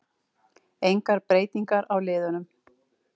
Engar breytingar á liðunum